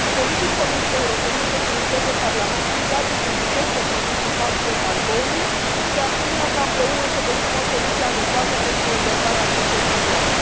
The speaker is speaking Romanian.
Solicit Comisiei Europene să furnizeze Parlamentului date suficiente privind impactul embargoului și, de asemenea, solicit ca, împreună, să găsim o soluție adecvată pentru rezolvarea acestei probleme.